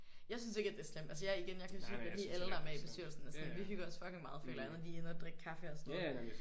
Jeg synes ikke at det er slemt. Altså jeg igen jeg kan selvfølgelig godt lide alle der er med i bestyrelsen. Vi hygger os fucking meget føler jeg når vi er inde og drikke kaffe og sådan noget